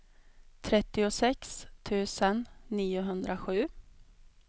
trettiosex tusen niohundrasju